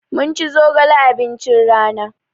Mun ci zogale abincin rana.